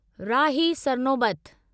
Rahi Sarnobat